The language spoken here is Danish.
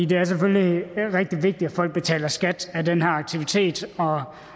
det er selvfølgelig rigtig vigtigt at folk betaler skat af den her aktivitet og